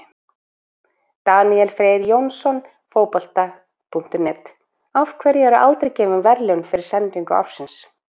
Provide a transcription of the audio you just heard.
Daníel Freyr Jónsson, Fótbolta.net: Af hverju eru aldrei gefin verðlaun fyrir sendingu ársins?